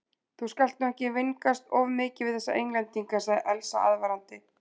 Þú skalt nú ekki vingast of mikið við þessa Englendinga, sagði Elsa aðvarandi.